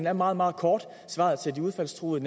er meget meget kort svaret til de udfaldstruede